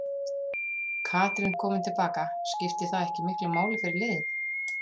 Katrín komin til baka, skiptir það ekki miklu máli fyrir liðið?